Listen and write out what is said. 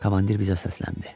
Komandir bizə səsləndi.